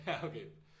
Ja okay